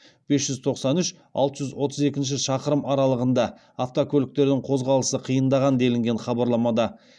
бес жүз тоқсан үш алты жүз отыз екінші шақырым аралығында автокөліктердің қозғалысы қиындаған делінген хабарламада